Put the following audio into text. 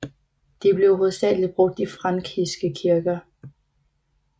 De blev hovedsageligt brugt i frankiske kirker